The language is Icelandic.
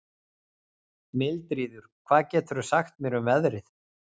Mildríður, hvað geturðu sagt mér um veðrið?